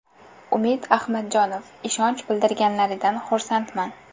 Umid Ahmadjonov: Ishonch bildirganlaridan xursandman.